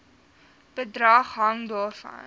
bedrag hang daarvan